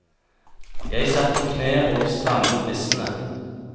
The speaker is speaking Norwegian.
Jeg satt på kne og strammet lissene.